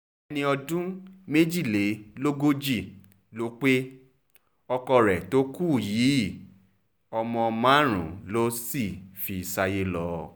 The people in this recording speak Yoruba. ẹni ọdún méjìlélógójì ló pe ọkọ rẹ̀ tó kú yìí kú yìí ọmọ márùn-ún ló sì fi ṣayé lọ